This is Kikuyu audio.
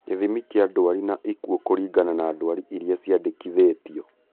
Gĩthimi kĩa ndwari na ikuũ kũringana na ndwari iria ciandĩkithĩtio